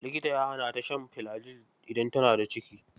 Likita ya hana ta shan filajil idan tana daciki.